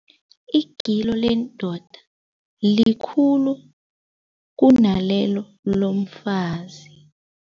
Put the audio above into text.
Igilo lendoda likhulu kunalelo lomfazi.